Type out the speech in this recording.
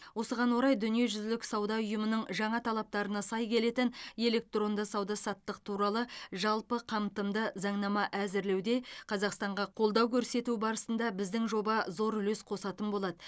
осыған орай дүниежүзілік сауда ұйымының жаңа талаптарына сай келетін электронды сауда саттық туралы жалпы қамтымды заңнама әзірлеуде қазақстанға қолдау көрсету барысында біздің жоба зор үлес қосатын болады